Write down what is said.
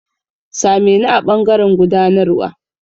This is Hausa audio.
Sa me ni a ɓangaren gudanarwa.